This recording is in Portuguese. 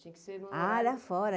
Tinha que ser numa área... Área fora.